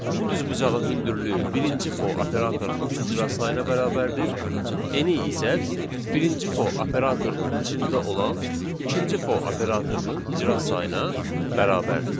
Bu düzbucağın hündürlüyü birinci for operatorunun icra sayına bərabərdir, eni isə birinci for operatorunun içində olan ikinci for operatorunun icra sayına bərabərdir.